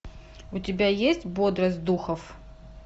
у тебя есть бодрость духов